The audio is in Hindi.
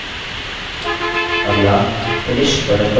अगला finish button पर click करिये